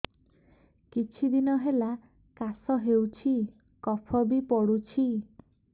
କିଛି ଦିନହେଲା କାଶ ହେଉଛି କଫ ବି ପଡୁଛି